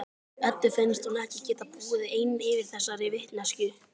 Eddu finnst hún ekki geta búið ein yfir þessari vitneskju.